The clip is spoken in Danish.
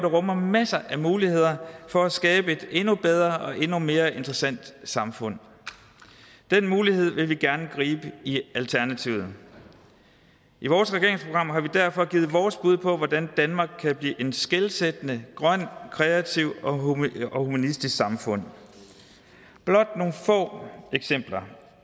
rummer masser af muligheder for at skabe et endnu bedre og endnu mere interessant samfund den mulighed vil vi gerne gribe i alternativet i vores regeringsprogram har vi derfor givet vores bud på hvordan danmark kan blive et skelsættende grønt kreativt og humanistisk samfund blot nogle få eksempler